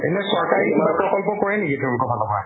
এনে চৰকাৰী কিবা প্ৰকল্প কৰে নেকি তোমালোকৰ ফালৰ পৰা?